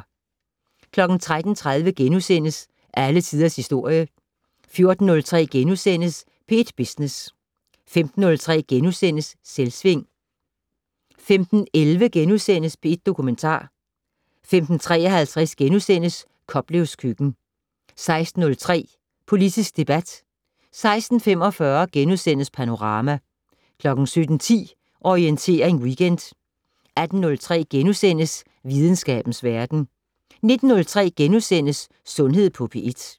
13:30: Alle Tiders Historie * 14:03: P1 Business * 15:03: Selvsving * 15:11: P1 Dokumentar * 15:53: Koplevs køkken * 16:03: Politisk debat 16:45: Panorama * 17:10: Orientering Weekend 18:03: Videnskabens Verden * 19:03: Sundhed på P1 *